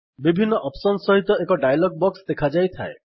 ବିଭିନ୍ନ ଅପ୍ସନ୍ ସହିତ ଏକ ଡାୟଲଗ୍ ବକ୍ସ୍ ଦେଖାଯାଇଥାଏ